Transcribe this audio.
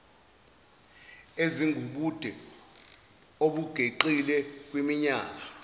ezingubude obungeqile kwiminyaka